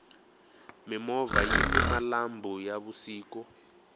mimovha yini malambhu ya vusiku